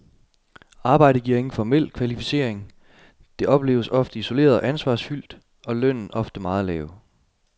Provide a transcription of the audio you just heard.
Arbejdet giver ingen formel kvalificering, det opleves ofte isoleret og ansvarsfyldt, og lønnen oftest meget lav.